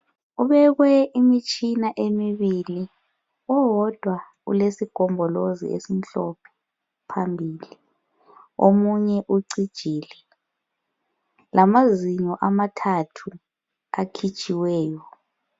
Kubekwe imitshina emibili owodwa ulesigombolozi esimhlophe phambili omunye sucijile lamazinyo amathathu akhitshiweyo.